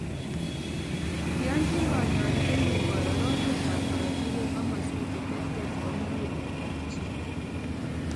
Iyonjin kanyoindet ng'ung koro rotetab korotik eng' komaswek cheterter chebo muguleldop chi